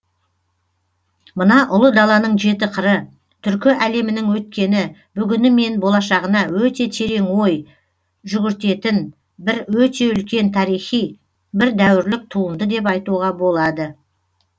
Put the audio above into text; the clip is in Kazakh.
мына ұлы даланың жеті қыры түркі әлемінің өткені бүгіні мен болашағына өте терең ой жүгіртетін бір өте үлкен тарихи бір дәуірлік туынды деп айтуға болады